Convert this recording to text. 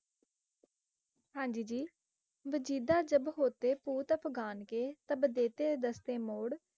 ਹਾਂਜੀ ਜੀ, ਵਜੀਦਾ ਜਬ ਹੋਤੇ ਪੂਤ ਅਫਗਾਨ ਕੇ, ਤਬ ਦੇਤੇ ਦਸਤੇ ਮੋੜ,